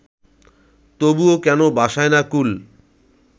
তবুও কেন ভাসায় না কূল